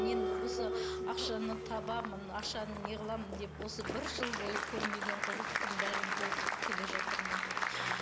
мен осы ақшаны табамын ақшаны неғыламын деп осы бір жыл бойы көрмеген қорлықтың бәрін көріп келе жатырмын